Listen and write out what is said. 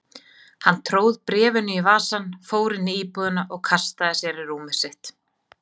Hann tróð bréfinu í vasann, fór inn í íbúðina og kastaði sér í rúmið sitt.